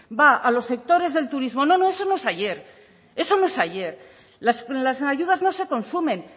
va a los sectores del turismo no no eso no es ayer eso no es ayer las ayudas no se consumen